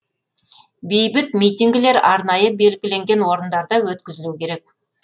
бейбіт митингілер арнайы белгіленген орындарда өткізілу керек